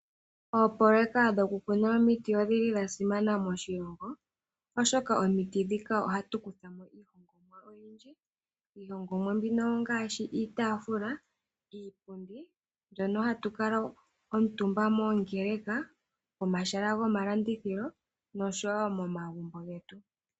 Oopololeka dhoku kuna omiti odhili dha simana moshilongo, oshoka omiti dhika ohatu kutha mo iilongomwa oyindji. IIlongomwa mbino ongaashi iitaafula, iipundi mbyono hatu kala omutumba moongeleka, pomahala goma landithilo nosho wo momagumbo getu.